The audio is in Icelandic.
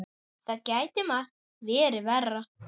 Það gæti margt verið verra.